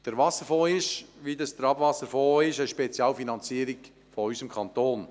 Beim Wasserfonds handelt es sich, wie auch beim Abwasserfonds, um eine Spezialfinanzierung unseres Kantons.